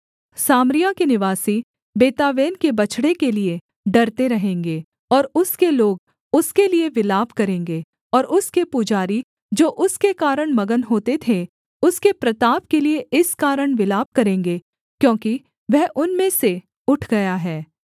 सामरिया के निवासी बेतावेन के बछड़े के लिये डरते रहेंगे और उसके लोग उसके लिये विलाप करेंगे और उसके पुजारी जो उसके कारण मगन होते थे उसके प्रताप के लिये इस कारण विलाप करेंगे क्योंकि वह उनमें से उठ गया है